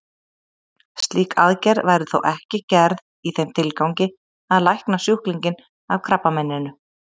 Slík aðgerð væri þó ekki gerð í þeim tilgangi að lækna sjúklinginn af krabbameininu.